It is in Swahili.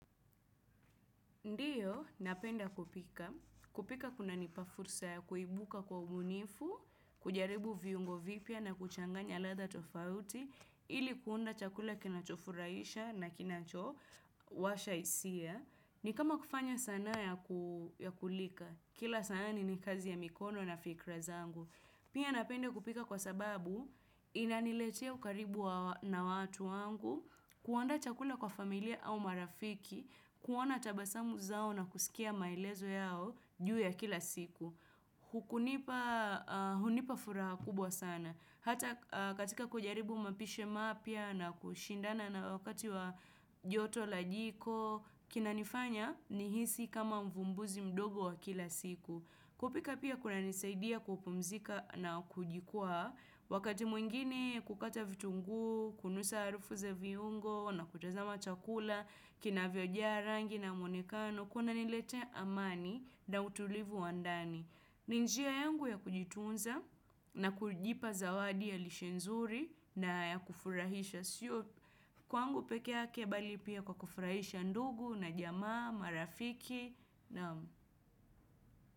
Ndiyo, napenda kupika. Kupika kuna nipafursa ya kuibuka kwa umunifu, kujaribu viungo vipya na kuchanganya ladha tofauti, ili kuunda chakula kinachofuraisha na kinacho washa isia. Ni kama kufanya sana ya kulika. Kila saani ni kazi ya mikono na fikra zangu. Pia napende kupika kwa sababu inaniletea ukaribu na watu wangu, kuaanda chakula kwa familia au marafiki, kuona tabasamu zao na kusikia maelezo yao juu ya kila siku. Hukunipa furaha kubwa sana. Hata katika kujaribu mapishi mapya kushindana na wakati wa joto la jiko, kinanifanya nihisi kama mvumbuzi mdogo wa kila siku. Kupika pia kuna nisaidia kupumzika na kujikua, wakati mwingine kukata vitungu, kunusa arufu ze viungo, na kutazama chakula, kina vyojaa rangi na mwonekano, kuna niletea amani na utulivu wandani. Ninjia yangu ya kujitunza na kujipa zawadi ya lishenzuri na ya kufurahisha siyo. Kwa angu pekea kebali pia kwa kufurahisha ndugu na jamaa, marafiki naam.